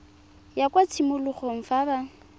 ya kwa tshimologong fa ba